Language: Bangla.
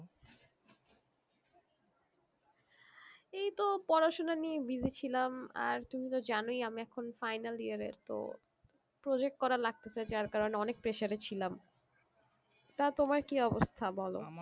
এই তো পড়াশোনা নিয়ে busy ছিলাম আর তুমি তো জানোই আমি এখন final year এ তো project করা লাগতেছে যার কারণে অনেক pressure এ ছিলাম তা তোমার কি অবস্থা বলো।